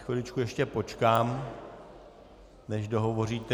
Chviličku ještě počkám, než dohovoříte.